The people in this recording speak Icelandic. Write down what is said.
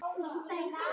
Ekki er það að sjá.